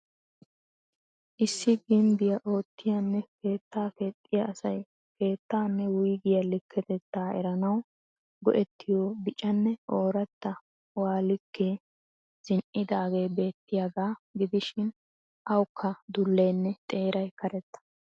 Issi gimbbiya oottiyanne keettaa keexxiya asay keettaanne wuyggiyaa liketettaa eranawu go'ettiyo biccanne ooratta wuhaa likke zin'idaagee beettiyaagaa gidishiin awukka duleenne xeeray karetta.